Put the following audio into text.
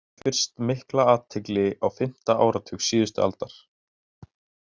Verk hans vöktu fyrst mikla athygli á fimmta áratug síðustu aldar.